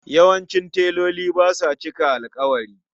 Yawancin teloli ba sa cika alƙawari.